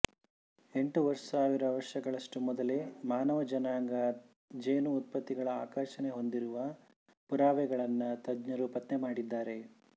ಎಂಟು ಸಾವಿರ ವರ್ಷಗಳಷ್ಟು ಮೊದಲೇ ಮಾನವ ಜನಾಂಗ ಜೇನು ಉತ್ಪತ್ತಿಗಳ ಆಕರ್ಷಣೆ ಹೊಂದಿರುವ ಪುರಾವೆಗಳನ್ನು ತಜ್ಞರು ಪತ್ತೆ ಮಾಡಿದ್ದಾರೆ